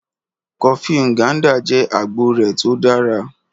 Kọfí Nganda jẹ́ agboo rẹ̀ tó dára.